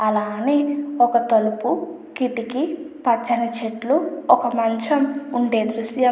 అలా అని ఒక తలుపు కిటికీ పచ్చని చెట్లు ఒక మంచం ఉండే దృశ్యం.